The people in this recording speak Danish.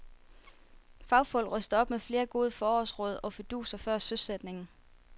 Fagfolk ryster op med flere gode forårsråd og fiduser før søsætningen.